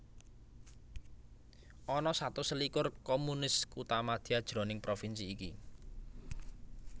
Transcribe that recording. Ana satus selikur communes kuthamadya jroning provinsi iki